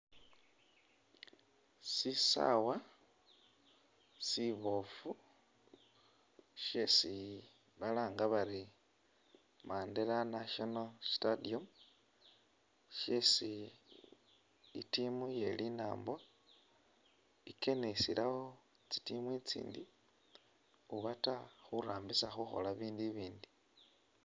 Sisaawa siboofu syesi balanga bari Mandela national stadium syesi i'team ye linaambo ikenisilawo tsi team itsindi ubata khurambisa khukhola ibindu ibindi.